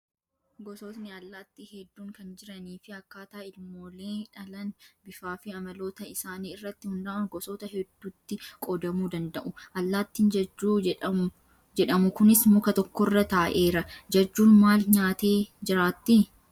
Gosoonni allaattii hedduun kan jiranii fi akkaataa ilmoolee dhalan bifaa fi amaloota isaanii irratti hundaa'uun gosoota hedduutti qoodamuu danda'u. Allaattiin jajjuu jedhamu kunis muka tokkorra taa'eera. Jajjuun maal nyaattee jiraatti?